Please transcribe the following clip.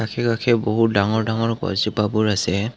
আশে পাশে বহুত ডাঙৰ ডাঙৰ গছজোপাবোৰ আছে।